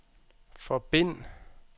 forbind